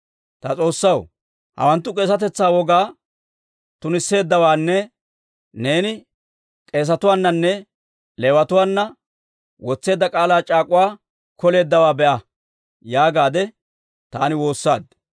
«Ta S'oossaw, hawanttu k'eesetetsaa wogaa tunisseeddawaanne neeni k'eesetuwaananne Leewatuwaana wotseedda k'aalaa c'aak'uwaa koleeddawaa be'a» yaagaadde taani woossaad.